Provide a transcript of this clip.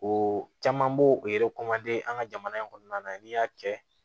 O caman b'o o an ka jamana in kɔnɔna na n'i y'a kɛ